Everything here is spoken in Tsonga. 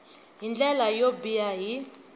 hi ndlela yo biha hi